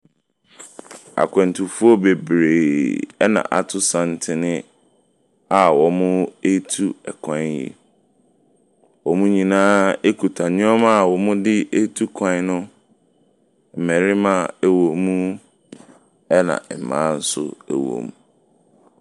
Akwantuoɔ bebree na ato santene a wɔretu kwan yi. Wɔn nyinaa kuta nneɛma a wɔde tu kwwan no. Mmarima wɔ mu, ɛnaa mmaa nso wɔ mu.